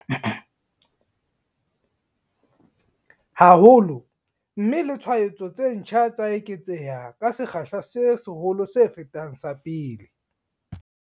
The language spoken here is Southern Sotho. Haholo, mme le tshwaetso tse ntjha tsa eketseha ka sekgahla se seholo se fetang sa pele.